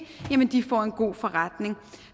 får en god forretning